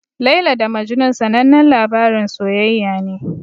Laila da Majnun sanannen labarin soyayya ne.